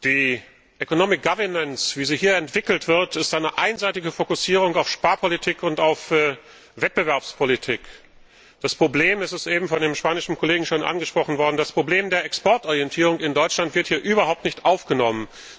Die E wie sie hier entwickelt wird, ist eine einseitige Fokussierung auf Sparpolitik und auf Wettbewerbspolitik. Das Problem es ist eben von dem spanischen Kollegen schon angesprochen worden das Problem der Exportorientierung in Deutschland wird hier überhaupt nicht aufgenommen.